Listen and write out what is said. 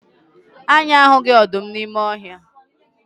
Anyị ahụghị ọdụm n'ime ọhịa.